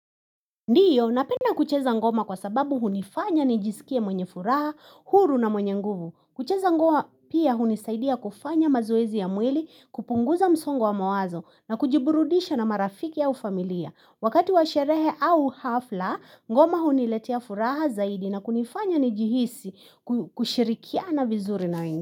Ndiyo, napenda kucheza ngoma kwa sababu hunifanya nijisikie mwenye furaha, huru na mwenye nguvu. Kucheza ngoma pia hunisaidia kufanya mazoezi ya mwili, kupunguza msongo wa mawazo na kujiburudisha na marafiki au familia. Wakati wa sherehe au hafla, ngoma huniletea furaha zaidi na kunifanya nijihisi kushirikiana vizuri na wengi.